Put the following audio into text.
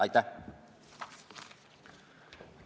Aitäh!